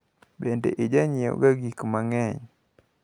Bende ijanyiewoga gikma ng`eny?